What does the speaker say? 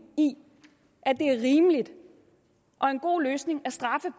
i at det er rimeligt og en god løsning at straffe